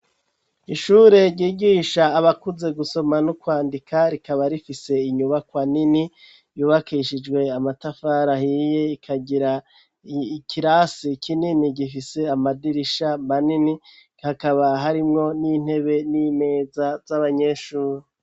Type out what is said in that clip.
Ishure ryigisha abakuze gusoma n'ukwandika rikaba rifise inyubakwa nini yubakishijwe amatafara ahiye akagira ikirasi kinini gifise amadirisha manini hakaba harimwo n'intebe n'imeza z'abanyeshure.